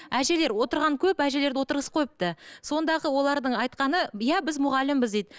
әжелер отырған көп әжелерді отырғызып қойыпты сондағы олардың айтқаны иә біз мұғалімбіз дейді